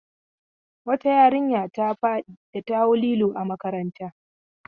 Wata yarinya ta faɗi da ta hau lilo. a makaranta